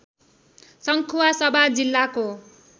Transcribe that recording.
सङ्खुवासभा जिल्लाको